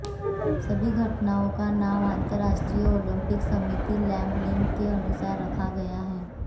सभी घटनाओं का नाम अंतर्राष्ट्रीय ओलंपिक समिति लेबलिंग के अनुसार रखा गया है